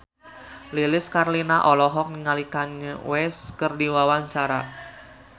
Lilis Karlina olohok ningali Kanye West keur diwawancara